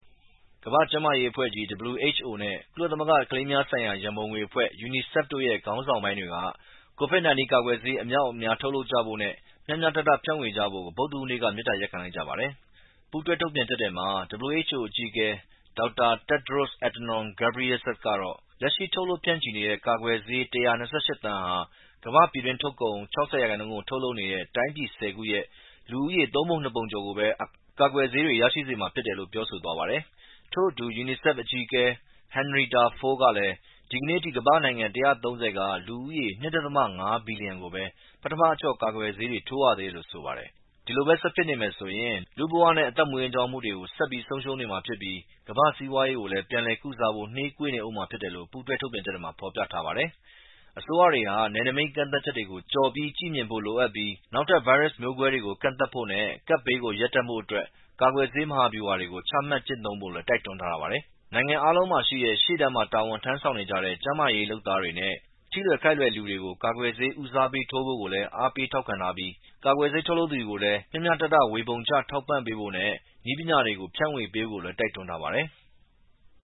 ကမ္ဘာ့ကျန်းမာရေးအဖွဲ့WHO နဲ့ကုလသမဂ္ဂကလေးများဆိုင်ရာ ရန်ပုံငွေအဖွဲ့UNICEF ခေါင်းဆောင်ပိုင်းတွေက COVID-19 ကာကွယ်ဆေးအမြောက်အများ ထုတ်လုပ်ကြဖို့နဲ့မျှမျှတတ ဖြန့်ဝေကြဖို့မေတ္တာရပ်ခံ လိုက်ကြပါတယ်။ ပူးတွဲထုတ်ပြန်ချက်ထဲမှာ WHO အကြီးအကဲ Dr. Tedros Adhanom Ghebreyesus ကတော့ လက်ရှိ ထုတ်လုပ်ဖြန့်ချီနေတဲ့ ကာကွယ်ဆေး ၁၂၈ သန်းဟာ ကမ္ဘာ့ ပြည်တွင်းထုတ်ကုန် ၆၀ ရာခိုင်နှုန်းကို ထုတ်လုပ်နေတဲ့ တိုင်းပြည် ၁၀ ခုရဲ့ လူဦးရေ သုံးပုံနှစ်ပုံကျော်လောက်ကိုပဲ ကာကွယ်ဆေး ရရှိစေတယ်လို့ပြောဆိုသွားပါတယ်။ ထို့အတူ UNICEF အကြီးအကဲ Henrietta Fore ကလည်း ဒီကနေ့အထိ ကမ္ဘာ့နိုင်ငံ ၁၃၀ က လူ ၂.၅ ဘီလျံကိုပဲ ပထမအကျော့ ကာကွယ်ဆေး ထိုးနှံရသေးတယ်လို့ဆိုပါတယ်။ ဒီလိုပဲ ဆက်ဖြစ်နေမယ်ဆိုရင် လူ့ဘဝနဲ့အသက်မွေးဝမ်းကြောင်းမှုတွေဆက်ပြီး ဆုံးရှုံးမှာဖြစ်ပြီး ကမ္ဘာ့စီးပွားရေးကို ပြန်လည်ကုစားဖို့နှေးကွေးနေဦးမှာလည်း ဖြစ်တယ်လို့ပူးတွဲ ထုတ်ပြန်ချက်ထဲမှာ ဖော်ပြထားပါတယ်။ အစိုးရတွေဟာ နယ်နိမိတ်ကန့်သတ်ချက်တွေကို ကျော်ပြီး ကြည့်မြင်ဖို့လိုပြီး နောက်ထပ်ဗိုင်းရပ်စ်မျိုးကွဲတွေကို ကန့်သတ်ဖို့နဲ့ကပ်ဘေးကို ရပ်တန့်ဖို့ကာကွယ်ဆေး မဟာဗျူဟာကို ချမှတ်ကျင့်သုံးဖို့ တိုက်တွန်းထားပါတယ်။ နိုင်ငံအားလုံးမှာရှိတဲ့ ရှေ့တန်းမှာ တာဝန်ထမ်းဆောင်နေကြတဲ့ ကျန်းမာရေး လုပ်သားတွေနဲ့ထိလွယ် ခိုက်လွယ်တဲ့လူတွေကို ကာကွယ်ဆေးဦးစားပေးထိုးဖို့ တိုက်တွန်းထားပြီး ကာကွယ်ဆေး ထုတ်လုပ်သူတွေ ကိုလည်း မျှမျှတတ ဝေပေးထောက်ပံဖို့နဲ့ နည်းပညာတွေ ဖြန့်ဝေပေးဖို့တိုက်တွန်းထားပါတယ်။